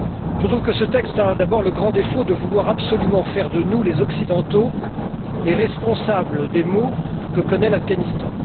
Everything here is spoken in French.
Je trouve que ce texte a d'abord le grand défaut de vouloir absolument faire de nous, les Occidentaux, les responsables des maux que connaît l'Afghanistan.